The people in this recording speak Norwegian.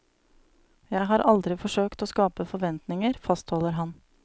Jeg har aldri forsøkt å skape forventninger, fastholder han.